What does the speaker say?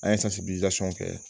An ye kɛ